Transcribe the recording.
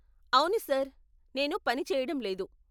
అవును, సార్, నేను పని చేయడం లేదు.